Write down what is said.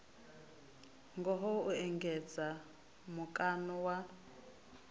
ngaho u engedza mukano wa